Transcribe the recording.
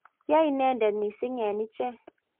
ya inende mising eng' ichek